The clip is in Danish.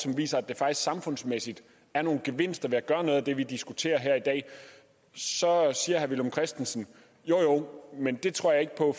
viser at der samfundsmæssigt er nogle gevinster ved at gøre noget af det vi diskuterer i dag så siger herre villum christensen jo jo men det tror jeg ikke på